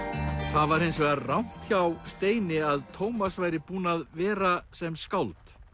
það var hins vegar rangt hjá Steini að Tómas væri búinn að vera sem skáld